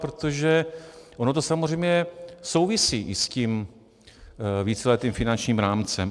Protože ono to samozřejmě souvisí i s tím víceletým finančním rámcem.